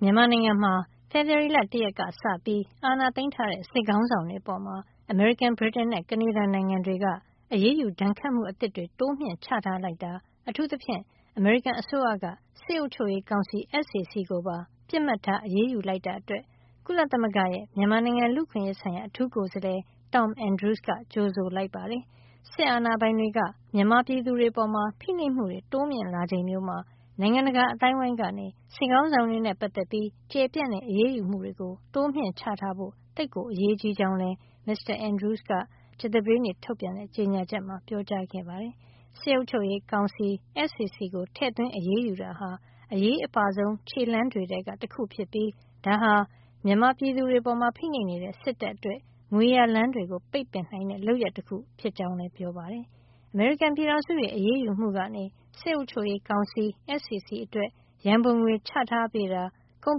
မြန်မာနိုင်ငံမှာ ဖေဖေါ်ဝါရီလ ၁ ရက်က စပြီး အာဏာသိမ်းထားတဲ့ စစ်ခေါင်းဆောင်တွေအပေါ် အမေရိကန်၊ ဗြိတိန်နဲ့ ကနေဒါနိုင်ငံတွေက အရေးယူ ဒဏ်ခတ်မှု အသစ်တွေ တိုးမြှင့် ချထားလိုက်တာ အထူးသဖြင့် အမေရိကန်အစိုးရက စစ်အုပ်ချုပ်ရေးကောင်စီ SAC ကိုပါ ပစ်မှတ်ထား အရေးယူလိုက်တာ အတွက် ကုလသမဂ္ဂရဲ့ မြန်မာနိုင်ငံ လူ့အခွင့်ရေးဆိုင်ရာ အထူးကိုယ်စားလှယ် Tom Andrews က ကြိုဆိုလိုက်ပါတယ်။ စစ်အာဏာပိုင်တွေက မြန်မာပြည်သူတွေ အပေါ် ဖိနှိပ်မှုတွေ တိုးမြှင့် လာချိန်မျိုးမှာ နိုင်ငံတကာ အသိုင်းဝိုင်းကနေ စစ်ခေါင်းဆောင်တွေနဲ့ ပတ်သက်ပြီး ကျယ်ပြန့်တဲ့ အရေးယူမှုတွေ တိုးချထားဖို့ သိပ်ကို အရေးကြီးကြောင်းလည်း မစ္စတာ Andrews က မေလ ၂၀ ကြာသပတေးနေ့ထုတ်ပြန်တဲ့ ကြေညာချက်မှာ ပြောကြားခဲ့ပါတယ်။ စစ်အုပ်ချုပ်ရေးကောင်စီ SAC ကို ထည့်သွင်းအရေးယူတာဟာ အရေးအပါဆုံး ခြေလှမ်းတွေထဲက တခု ဖြစ်ပြီး ဒါဟာ မြန်မာပြည်သူတွေ အပေါ်ဖိနှိပ်နေတဲ့ စစ်တပ် အတွက် ငွေရလမ်းတွေကို ပိတ်ပင်နိုင်တဲ့ လုပ်ရပ်တခု ဖြစ်ကြောင်းလည်း ပြောပါတယ်။ အမေရိကန်ပြည်ထောင်စုရဲ့ အရေးယူမှုကနေ စစ်အုပ်ချုပ်ရေး ကောင်စီ SAC အတွက် ရံပုံငွေချထားပေးတာ၊ ကုန်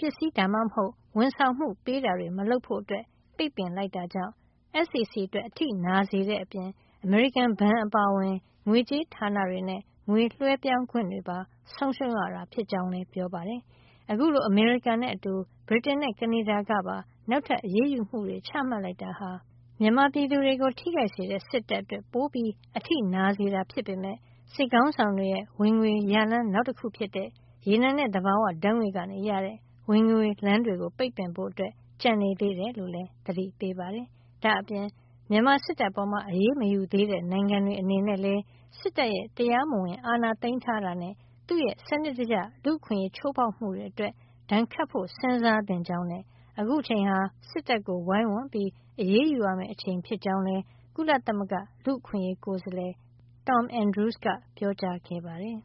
ပစ္စည်း ဒါမှမဟုတ် ဝန်ဆောင်မှု ပေးတာတွေ မလုပ်ဖို့ ပိတ်ပင်လိုက်တာ ကြောင့် SAC အတွက် အထိနာစေတဲ့ အပြင် အမေရိကန်ဘဏ် အပါအဝင် ငွေကြေးဌာန တွေနဲ့ ငွေလွှဲပြောင်းခွင့်တွေပါ ဆုံးရှုံးရတာ ဖြစ်ကြောင်းလည်း ပြောပါတယ်။ အခုလို အမေရိကန်နဲ့ အတူ ဗြိတိန်နဲ့ ကနေဒါကပါ နောက်ထပ် အရေးယူမှုတွေ ချမှတ်လိုက်တာဟာ မြန်မာပြည်သူတွေ ကို ထိခိုက်စေတဲ့စစ်တပ်အတွက် ပိုအထိနာစေတာ ဖြစ်ပေမယ့် စစ်ခေါင်းဆောင်တွေ ရဲ့ ငွေရလမ်း နောက်တခု ဖြစ်တဲ့ ရေနံနဲ့ သဘာဝဓါတ်ငွေ့က ရတဲ့ ဝင်ငွေလမ်း တွေကို ပိတ်ဖို့ ကျန်နေသေးတယ် လို့လည်း သတိပေးပါတယ်။ ဒါ့အပြင် မြန်မာစစ်တပ်အပေါ် အရေးမယူသေးတဲ့ နိုင်ငံတွေ အနေနဲ့လည်း စစ်တပ်ရဲ့ တရားမဝင် အာဏာသိမ်းတာနဲ့ သူ့ရဲ့စံနစ်တကျ လူ့အခွင့်ရေး ချိုးဖေါက်မှုတွေ အတွက် ဒဏ်ခတ်ဖို့ စဉ်းစားသင့်ကြောင်းနဲ့ အခုအချိန်ဟာ စစ်တပ်ကို ဝိုင်းဝန်း အရေးယူရမယ့် အချိန် ဖြစ်ကြောင်းလည်း ကုလလူ့အခွင့်ရေးကိုယ်စားလှယ် Tom Andrews က ပြောကြားခဲ့ပါတယ်